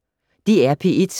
DR P1